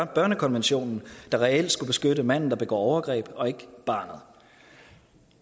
børnekonventionen der reelt skulle beskytte manden der begår overgreb og ikke barnet